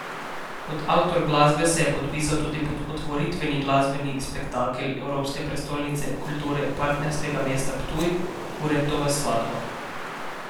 Kot avtor glasbe se je podpisal tudi pod otvoritveni glasbeni spektakel Evropske prestolnice Kulture partnerskega mesta Ptuj, Kurentova Svadba.